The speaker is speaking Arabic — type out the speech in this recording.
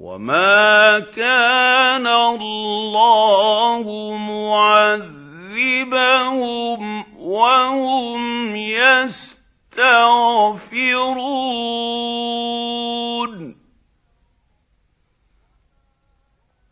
وَمَا كَانَ اللَّهُ مُعَذِّبَهُمْ وَهُمْ يَسْتَغْفِرُونَ